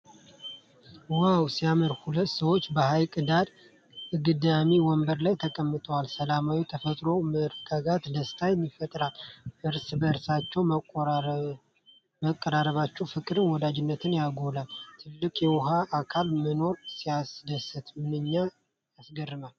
ዋው ሲያምር! ሁለት ሰዎች በሐይቅ ዳር አግዳሚ ወንበር ላይ ተቀምጠዋል። ሰላማዊው ተፈጥሮ መረጋጋትና ደስታ ይፈጥራል። እርስ በእርስ መቀራረባቸው ፍቅርንና ወዳጅነትን ያጎላል። ትልቅ የውሃ አካል መኖሩ ሲያስደስት! ምንኛ የሚያረጋጋ ገጽታ!